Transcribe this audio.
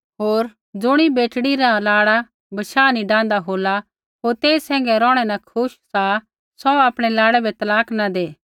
होर ज़ुणी बेटड़ी रा लाड़ा बशाह नी डाहन्दा होला ता होर तेई सैंघै रौहणै न खुश सा सौ आपणै लाड़ै बै तलाक न दै